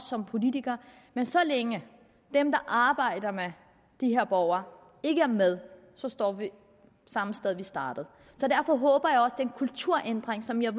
som politikere men så længe at dem der arbejder med de her borgere ikke er med så står vi samme sted hvor vi startede så derfor håber jeg at en kulturændring som jeg